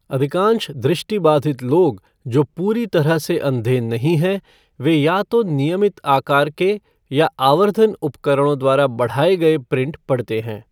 अधिकांश दृष्टिबाधित लोग जो पूरी तरह से अंधे नहीं हैं, वे या तो नियमित आकार के या आवर्धन उपकरणों द्वारा बढ़ाए गए प्रिंट पढ़ते हैं।